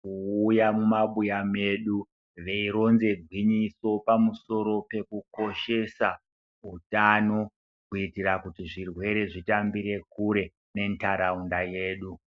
kuuya mumabuya mwedu veironze gwinyiso pamusoro pekukushesa zveutano, kuitira kuti zvirwere zvitambire kure nentaraunda yedu.